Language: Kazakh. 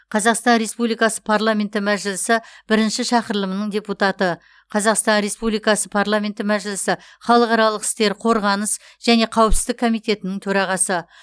қазақстан республикасы парламенті мәжілісі бірінші шақырылымының депутаты қазақстан республикасы парламенті мәжілісі халықаралық істер қорғаныс және қауіпсіздік комитетінің төрағасы